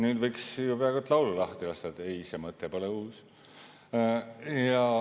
Nüüd võiks ju peaaegu et laulu lahti lasta: ei, see mõte pole uus.